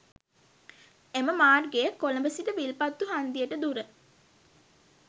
එම මාර්ගයේ කොළඹ සිට විල්පත්තු හන්දියට දුර